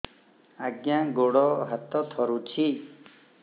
ଆଜ୍ଞା ଗୋଡ଼ ହାତ ଥରୁଛି